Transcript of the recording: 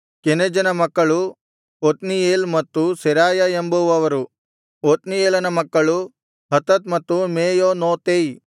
ಕೆನಜನ ಮಕ್ಕಳು ಒತ್ನೀಯೇಲ್ ಮತ್ತು ಸೆರಾಯ ಎಂಬುವವರು ಒತ್ನೀಯೇಲನ ಮಕ್ಕಳು ಹತತ್ ಮತ್ತು ಮೆಯೋನೋತೈ